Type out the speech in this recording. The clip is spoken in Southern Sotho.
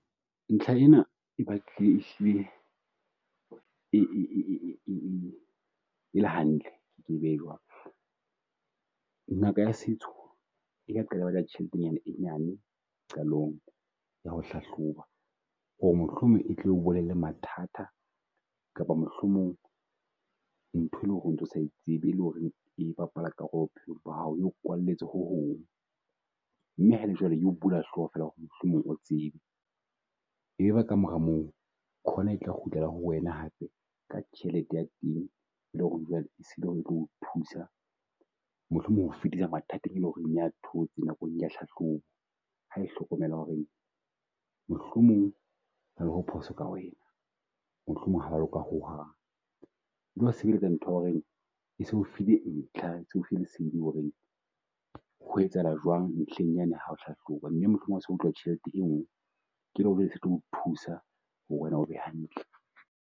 Ntlha ena e batlile e hlile e e e e e le hantle, ke e behe jwalo. Ngaka ya setso ka tjhelete e nyane qalong ya ho hlahloba ho re mohlomong e tlo bolella mathata kapa mohlomong ntho e le ho re o ntso sa e tsebe. le ho reng e bapala karolo bophelong ba hao, e o kwalletse ho Hong. Mme ha e le jwalo e bula hloho fela ho re mohlomong o tsebe, e be ka mora moo, khona e tla kgutlela ho wena hape ka tjhelete ya teng e lo re jwale e sa le e tlo o thusa mohlomong ho o fetisa mathateng e leng ho re e a thotse nakong ya hlahloba. Ha e hlokomela ho re mohlomong ho na le ho phoso ka wena. Mohlomong ha wa loka ho hang sebeletsa ntho ya ho re e se e o fihle ntlha, e se e o file lesedi ho re ho etsahala jwang ntlheng ya ne ha o hlahloba mme mohlomong ha so batluwa tjhelete e nngwe. Ke e leng ho re e tlo o thusa ho re wena o be hantle.